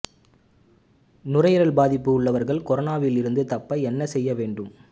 நுரையீரல் பாதிப்பு உள்ளவர்கள் கொரோனாவில் இருந்து தப்ப என்ன செய்ய வேண்டும்